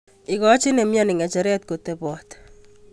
Ikochin nemioni nge'cheret kotebot